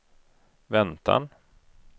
väntan